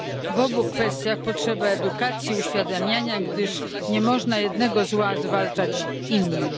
W obu kwestiach potrzeba edukacji i uświadamiania, gdyż nie można jednego zła zwalczać innym.